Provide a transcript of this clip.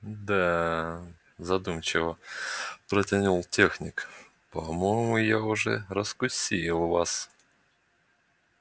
да задумчиво протянул техник по-моему я уже раскусил вас